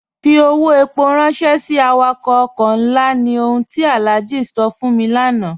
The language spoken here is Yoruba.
Fí ọwọ́ èpó ránṣẹ̀ sí àwàkọ̀ ọ̀kọ̀ nlá, ní ọ̀hùn ti Alhaji sọ̀ fún mi lánà.